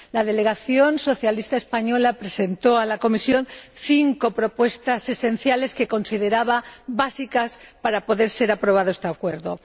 La delegación socialista española presentó a la Comisión cinco propuestas esenciales que consideraba básicas para que pudiera aprobarse este acuerdo.